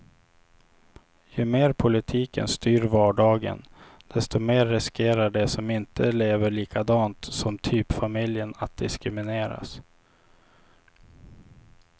Ju mer politiken styr vardagen, desto mer riskerar de som inte lever likadant som typfamiljen att diskrimineras.